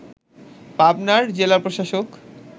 পাবনার জেলা প্রশাসক